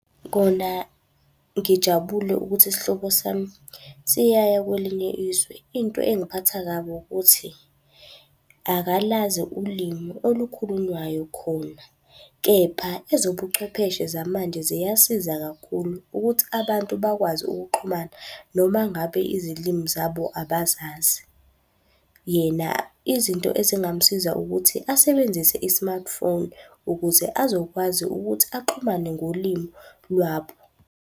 Kona ngijabule ukuthi isihlobo sami siyaya kwelinye izwe. Into engiphatha kabi ukuthi, akalazi ulimi olukhulunywayo khona. Kepha ezobuchwepheshe zamanje ziyasiza kakhulu ukuthi abantu bakwazi ukuxhumana noma ngabe izilimi zabo abazazi. Yena izinto ezingamsiza ukuthi asebenzise i-smartphone ukuze azokwazi ukuthi axhumane ngolimi lwabo.